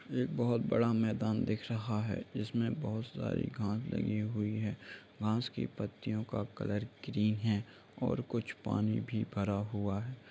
एक बहोत बड़ा मैदान दिख रहा है जिसमें बहोत सारी घास लगी हुई है घास की पत्तियों का कलर ग्रीन है और कुछ पानी भी भरा हुआ है।